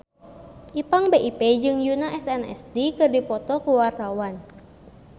Ipank BIP jeung Yoona SNSD keur dipoto ku wartawan